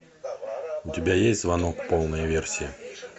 у тебя есть звонок полная версия